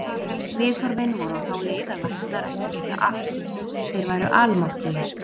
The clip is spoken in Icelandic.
Viðhorfin voru á þá leið að læknar ættu að geta allt, þeir væru almáttugir.